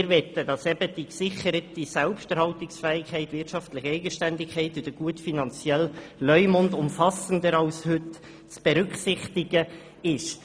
Wir möchten, dass die gesicherte Selbsterhaltungsfähigkeit, die wirtschaftliche Eigenständigkeit und der gute finanzielle Leumund umfassender als heute zu berücksichtigen sind.